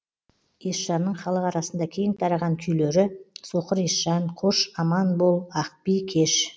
есжанның халық арасында кең тараған күйлері соқыр есжан қош аман бол ақби кеш